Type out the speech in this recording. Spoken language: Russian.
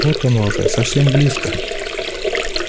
вот оно уже совсем близко